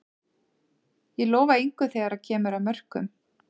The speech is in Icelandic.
Ég lofa engu þegar að kemur að mörkum.